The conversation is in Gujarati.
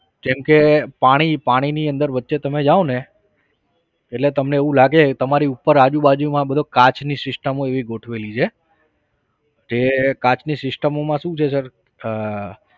જેમ કે પાણી પાણીની અંદર વચ્ચે તમે જાઓને એટલે તમને એવું લાગે તમારી ઉપર આજુ બાજુમાં બધી કાચની systems એવી ગોઠવેલી છે. જે કાચની systems માં શું છે sir આહ